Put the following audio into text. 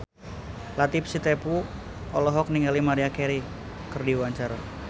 Latief Sitepu olohok ningali Maria Carey keur diwawancara